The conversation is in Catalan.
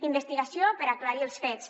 investigació per aclarir els fets